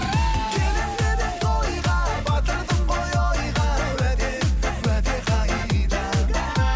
келемін деп едің тойға батырдың ғой ойға уәде уәде қайда